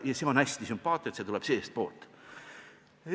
Ja see on hästi sümpaatne, et see tuleb seestpoolt.